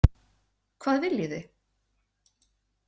Hvað viljið þið?